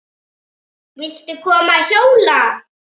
Viltu koma að hjóla?